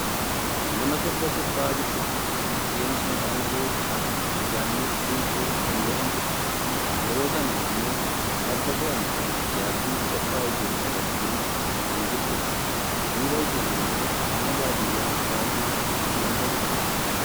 nama sirba sirbaa jirtudha. isheenis maqaan ishee aartist Yaannet Dinquu kan jedhamtudha. yeroo kana ammoo farda fe'amee yaabbiif qophaa'ee jiru qabattee kan jirtudha. duuba isheen ammoo mana baadiyyaa baayyeetu kan argamudha.